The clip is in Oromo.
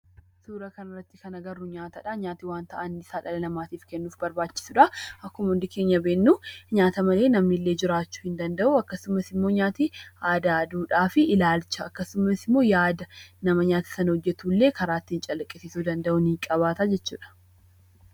Suuraa kanarratti kan agarru nyaatadha. Nyaati wanti dhala namaatiif barbaachisudha. Akkuma hundi keenya beeknu nyaata malee namni illee jiraachuu hin danda'u. Kunis immoo nyaatni aadaa, duudhaa fi ilaalcha akkasumas immoo yaada nama nyaata sana hojjatuullee karaa ittiin calaqqisiisuu danda'u ni qabaata jechuudha.